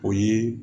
O ye